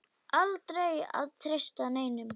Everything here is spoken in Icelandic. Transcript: Aldrei að treysta neinum.